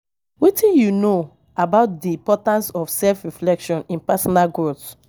Wetin you know about di importance of self-reflection in personal growth?